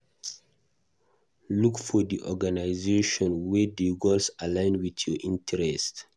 Look for di organisation wey di goals align with your interest